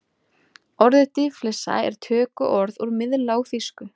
Orðið dýflissa er tökuorð úr miðlágþýsku.